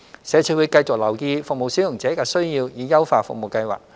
社署會繼續留意服務使用者的需要以優化服務計劃。